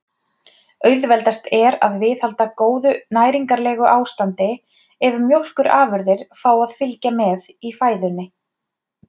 Auðveldast er að viðhalda góðu næringarlegu ástandi ef mjólkurafurðir fá að fylgja með í fæðunni.